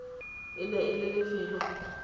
e ne e le lefelo